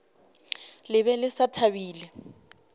le be le sa thabile